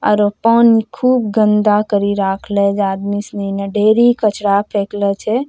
आरो पानी खुब गन्दा करी रखले जे आदमी सनी ने ढेरी कचरा फेकलो छे।